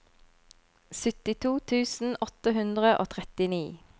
syttito tusen åtte hundre og trettini